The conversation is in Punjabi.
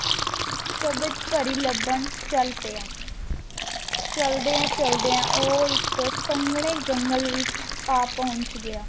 ਕ੍ਵਾਜ ਪਾਰੀ ਲਬਾਂ ਚਲ ਪਾਯਾ ਚਾਲ੍ਦ੍ਯਾਂ ਚਾਲ੍ਦ੍ਯਾਂ ਊ ਏਇਕ ਸੰਗ੍ਨੀ ਜੁਗਲੇ ਵਿਚ ਆ ਪੋਹ੍ਨ੍ਚ੍ਯਾ